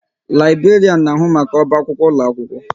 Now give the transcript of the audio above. Laiberian na ahu maka oba akwụkwọ ụlọ akwụkwọ